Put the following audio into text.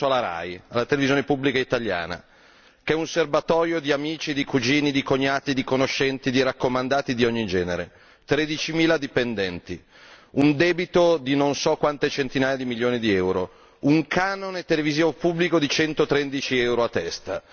Però io penso alla RAI, la televisione pubblica italiana che è un serbatoio di amici, di cugini, di cognati, di conoscenti, di raccomandati di ogni genere, 13 mila dipendenti, un debito di non so quante centinaia di milioni di euro, un canone televisivo pubblico di 113 euro a testa.